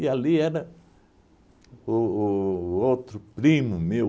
E ali era o o o outro primo meu,